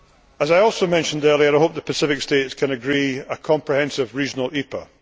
action. As I mentioned earlier, I hope that the Pacific states can agree a comprehensive regional